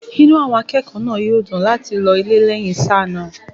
inú àwọn akẹ́kọ̀ọ́ náà yóò dùn láti lọ ilé lẹ́yìn sáà náà